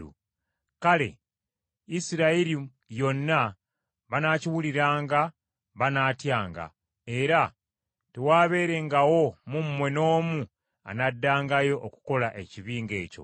Kale Isirayiri yonna banaakiwuliranga banaatyanga, era tewaabeerengawo mu mmwe n’omu anaddangayo okukola ekibi ng’ekyo.